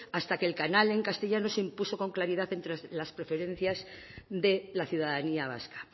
hasta que el canal en castellano se impuso con claridad entre las preferencias de la ciudadanía vasca